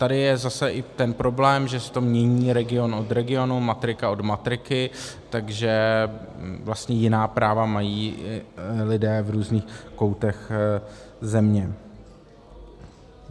Tady je zase i ten problém, že se to mění region od regionu, matrika od matriky, takže vlastně jiná práva mají lidé v různých koutech země.